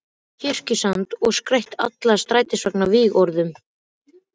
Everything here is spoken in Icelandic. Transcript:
Kirkjusand og skreytt alla strætisvagnana vígorðum.